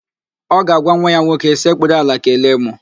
Ọ ga-agwa nwa ya nwoke, sekpuru ala kelee mụ!